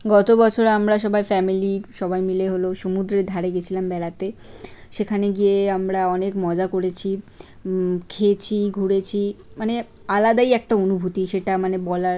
গত বছর আমরা সবাই ফ্যামিলি সবাই মিলে হল সমুদ্রের ধারে গেছিলাম বেড়াতে। সেখানে গিয়ে আমরা অনেক মজা করেছি উম খেয়েছি ঘুরেছি। মানে আলাদাই একটা অনুভূতি সেটা মানে বলার--